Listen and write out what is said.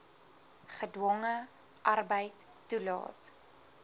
gedwonge arbeid toelaat